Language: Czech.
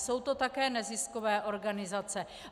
Jsou to také neziskové organizace.